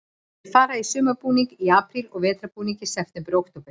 Þeir fara í sumarbúning í apríl og vetrarbúning í september og október.